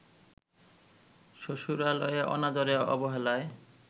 শ্বশুরালয়ে অনাদরে-অবহেলায়